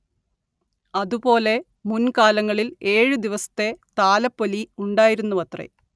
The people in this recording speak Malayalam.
അതുപോലെ മുൻ കാലങ്ങളിൽ ഏഴ് ദിവസത്തെ താലപ്പൊലി ഉണ്ടായിരുന്നുവത്രെ